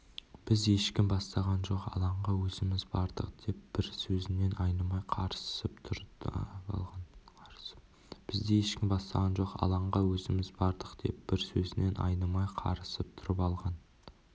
бізді ешкім бастаған жоқ алаңға өзіміз бардық деп бір сөзінен айнымай қарысып тұрып алған